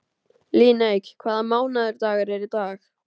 Líneik, hvaða mánaðardagur er í dag?